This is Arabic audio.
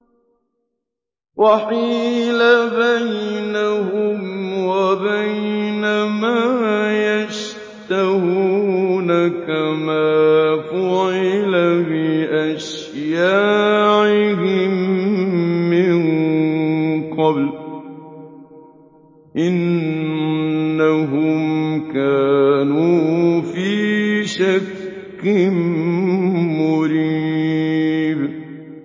وَحِيلَ بَيْنَهُمْ وَبَيْنَ مَا يَشْتَهُونَ كَمَا فُعِلَ بِأَشْيَاعِهِم مِّن قَبْلُ ۚ إِنَّهُمْ كَانُوا فِي شَكٍّ مُّرِيبٍ